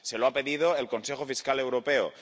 Se lo ha pedido el Consejo Fiscal Europeo